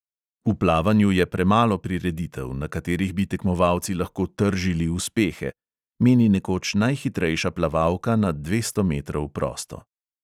"V plavanju je premalo prireditev, na katerih bi tekmovalci lahko tržili uspehe," meni nekoč najhitrejša plavalka na dvesto metrov prosto.